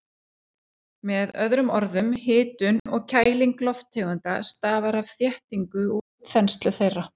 Með öðrum orðum, hitun og kæling lofttegunda stafar af þéttingu og útþenslu þeirra.